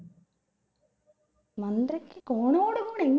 മന്ത്രിക്ക് കോണോട് കൂടെ